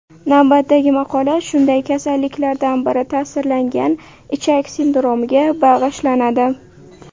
Navbatdagi maqola shunday kasalliklardan biri ta’sirlangan ichak sindromiga bag‘ishlanadi.